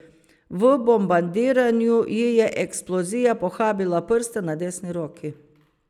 V bombardiranju ji je eksplozija pohabila prste na desni roki.